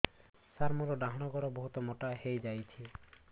ସାର ମୋର ଡାହାଣ ଗୋଡୋ ବହୁତ ମୋଟା ହେଇଯାଇଛି